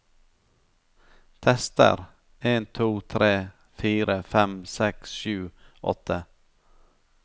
Tester en to tre fire fem seks sju åtte